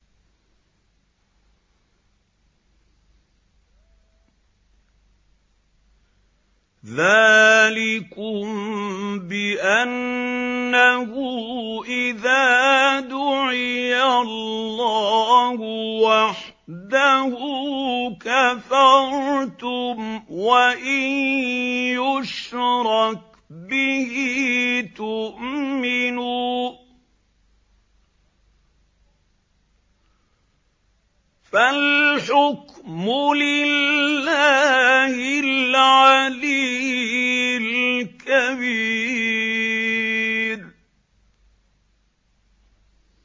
ذَٰلِكُم بِأَنَّهُ إِذَا دُعِيَ اللَّهُ وَحْدَهُ كَفَرْتُمْ ۖ وَإِن يُشْرَكْ بِهِ تُؤْمِنُوا ۚ فَالْحُكْمُ لِلَّهِ الْعَلِيِّ الْكَبِيرِ